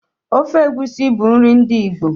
Ofe egusi bụ nri ndi Igbo.